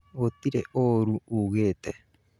Gũtĩrĩ ũru uugĩte